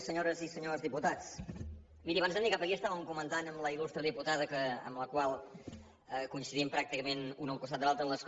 senyores i senyors diputats mirin abans de venir cap aquí estàvem comentant amb la il·lustre diputada amb la qual coincidim pràcticament un al costat de l’altre a l’escó